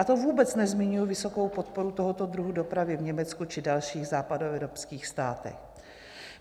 A to vůbec nezmiňuji vysokou podporu tohoto druhu dopravy v Německu či dalších západoevropských státech.